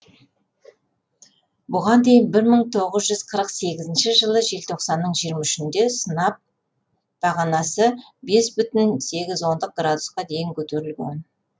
бұған дейін бір мың тоғыз жүз қырық сегізінші жылы желтоқсанның жиырма үшінде сынап бағанасы бес бүтін сегіз ондық градусқа дейін көтерілген